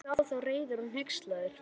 Horfði á þá, reiður og hneykslaður.